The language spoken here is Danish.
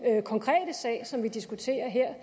konkrete sag som vi diskuterer her